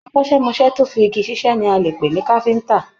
Akọ́sẹmọ́sẹ́ tó fí igi ṣiṣẹ ní a lè pe ní káfíntà.